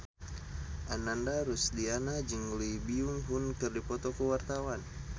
Ananda Rusdiana jeung Lee Byung Hun keur dipoto ku wartawan